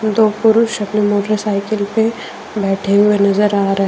दो पुरुष अपने मोटरसाइकिल पे बैठे हुए नजर आ रहे ।